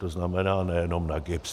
To znamená, nejenom na GIBS.